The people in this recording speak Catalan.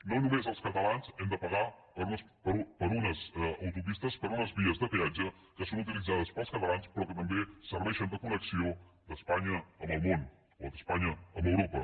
no només els catalans hem de pagar per unes autopistes per unes vies de peatge que són utilitzades pels catalans però que també serveixen de connexió d’espanya amb el món o d’espanya amb europa